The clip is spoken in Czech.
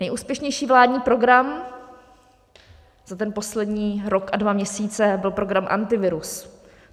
Nejúspěšnější vládní program za ten poslední rok a dva měsíce byl program Antivirus.